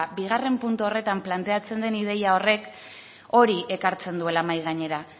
bigarren puntu horretan planteatzen den ideia horrek hori ekartzen duela mahai gainera